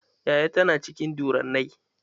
Yaya ta na cikin durranai.